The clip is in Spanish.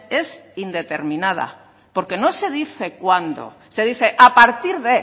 es indeterminada porque no se dice cuándo se dice a partir de